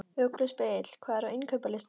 Ugluspegill, hvað er á innkaupalistanum mínum?